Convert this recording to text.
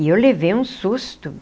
e eu levei um susto.